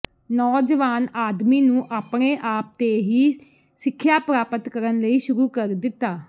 ਨੌਜਵਾਨ ਆਦਮੀ ਨੂੰ ਆਪਣੇ ਆਪ ਤੇ ਹੀ ਸਿੱਖਿਆ ਪ੍ਰਾਪਤ ਕਰਨ ਲਈ ਸ਼ੁਰੂ ਕਰ ਦਿੱਤਾ